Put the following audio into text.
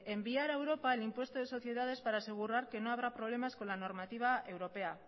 enviar a europa el impuesto de sociedades para asegurar que no habrá problemas con la normativa europea